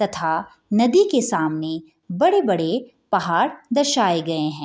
तथा नदी के सामने बड़े-बड़े पहाड़ दर्शाए गए है।